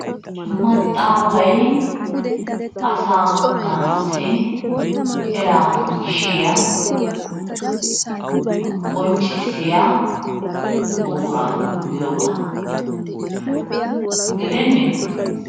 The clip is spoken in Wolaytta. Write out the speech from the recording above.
Maxaafay asaa na'aassi eraa gishiyaa qonccissiya buquraa giyoogaa gideenne?